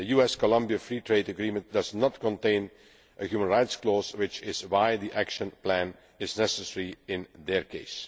The US Colombia free trade agreement does not contain a human rights clause, which is why an action plan is necessary in their